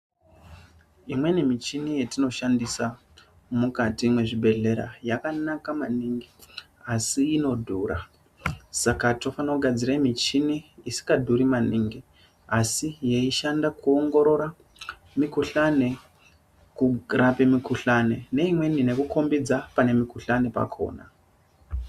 Imweni michini yetino shandisa mukati mwezvi bhehlera yakanaka maningi asi inodhura, saka tofana kugadzira michini isikadhuri maningi asi yeishanda kuongorora mikhuhlani, kurape mikhulani neimweni neku khombidza pane mukhuhlani pakhona.